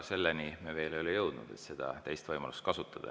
Selleni me veel ei ole jõudnud, et seda teist võimalust kasutada.